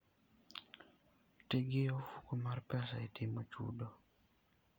Ti gi ofuko mar pesa e timo chudo.